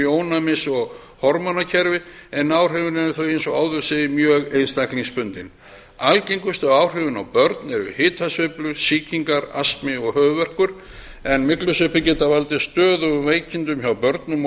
í ónæmis og hormónakerfi en áhrifin eru þó eins og áður segir mjög einstaklingsbundin algengustu áhrifin á börn eru hitasveiflur sýkingar astmi og höfuðverkur en myglusveppir geta valdið stöðugum veikindum hjá börnum og